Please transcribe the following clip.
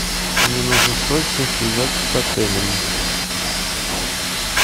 мне нужно срочно связаться с отелем